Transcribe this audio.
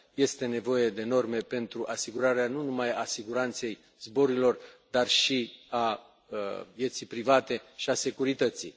Este nevoie de norme pentru asigurarea nu numai a siguranței zborurilor, dar și a vieții private și a securității.